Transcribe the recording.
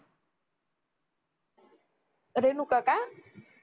रेणुका का